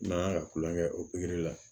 N'an kan ka tulonkɛ kɛ o la